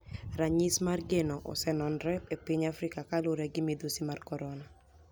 Raniyisi mar geno oseni enore epiniy africa kaluore gi midusi mar koronia.